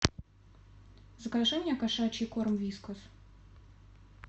закажи мне кошачий корм вискас